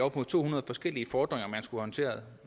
op mod to hundrede forskellige fordringer man skulle håndtere